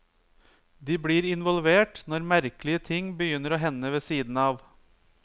De blir involvert når merkelige ting begynner å hende ved siden av.